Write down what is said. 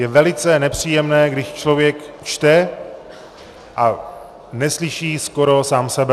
Je velice nepříjemné, když člověk čte a neslyší skoro sám sebe.